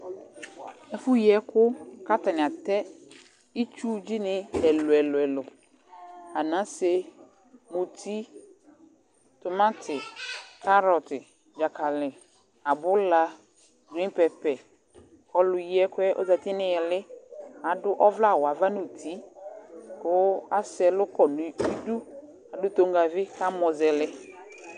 Ɛfʋyiɛkʋ kʋ atanɩ atɛ itsuvi ni ɛlʋ ɛlʋ ɛlʋ Anase, muti, tʋmati, karɔtɩ dzakali, abula, wɩŋpɛpɛ Ɔlʋyiɛkʋ yɛ ozǝtɩ nʋ ɩlɩ Adʋ ɔvlɛawʋ ava nʋ uti, kʋ asɛ ɛlʋkɔ nʋ idu Adʋ toŋgavi kʋ amɔzɛlɛ